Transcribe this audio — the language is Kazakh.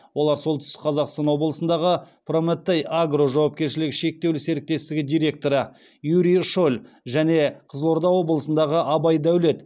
олар солтүстік қазақстан облысындағы прометей агро жауапкершілігі шектеулі серіктестігі директоры юрий шоль және қызылорда облысындағы абай дәулет